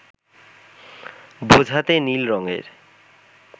বোঝাতে নীল রঙের